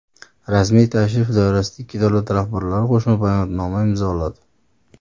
Rasmiy tashrif doirasida ikki davlat rahbarlari Qo‘shma bayonotni imzoladi.